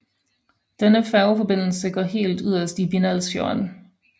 Denne færgeforbindelse går helt yderst i Bindalsfjorden